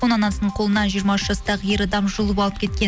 оны анасының қолынан жиырма үш жастағы ер адам жұлып алып кеткен